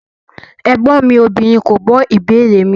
Ẹgbọn mi obìnrin ko gbo ìbéèrè mi.